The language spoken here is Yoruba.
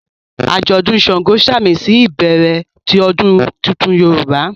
ajọdun ṣàngó samisi ibẹrẹ ti odun títún Yorúbá